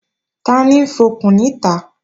Tani ń fọkùn níta?